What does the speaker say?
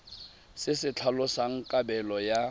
se se tlhalosang kabelo ya